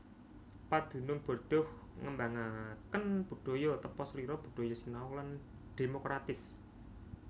Padunung Bordeaux ngembangaken budaya tepaselira budaya sinau lan dhémokratis